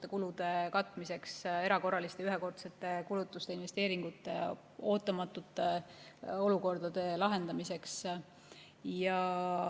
erakorralisteks ja ühekordseteks kulutusteks, investeeringuteks, ootamatute olukordade lahendamiseks.